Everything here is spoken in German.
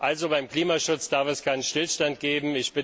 Also, beim Klimaschutz darf es keinen Stillstand geben.